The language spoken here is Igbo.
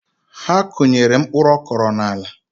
Ha akụnyere mpkuruokoro n’ala